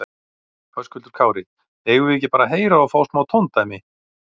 Höskuldur Kári: Eigum við ekki bara að heyra og fá smá tóndæmi?